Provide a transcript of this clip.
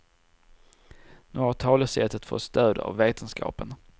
Nu har talesättet fått stöd av vetenskapen.